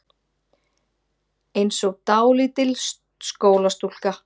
Einsog dálítil skólastúlka.